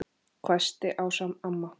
hvæsti Ása amma.